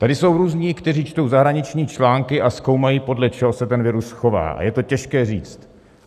Tady jsou různí, kteří čtou zahraniční články a zkoumají, podle čeho se ten virus chová, a je to těžké říct.